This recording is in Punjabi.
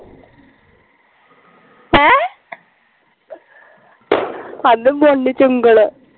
ਚ ਉਂਗਲ